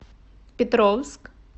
петровск